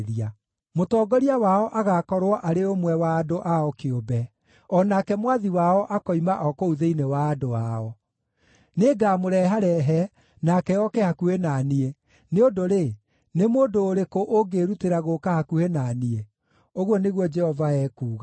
Mũtongoria wao agaakorwo arĩ ũmwe wa andũ ao kĩũmbe; o nake mwathi wao akoima o kũu thĩinĩ wa andũ ao. Nĩngamũreharehe nake oke hakuhĩ na niĩ, nĩ ũndũ-rĩ, nĩ mũndũ ũrĩkũ ũngĩĩrutĩra gũũka hakuhĩ na niĩ?’ ũguo nĩguo Jehova ekuuga.